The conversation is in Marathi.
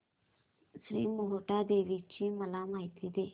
श्री मोहटादेवी ची मला माहिती दे